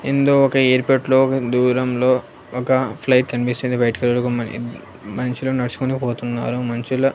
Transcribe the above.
ఇందులో ఒక ఎయిర్పోర్ట్లో దూరంలో ఒక ఫ్లైట్ కనిపిస్తుంది వైట్ కలర్ మనుషులు నడుచుకుంటూ పోతున్నారు మనుషుల--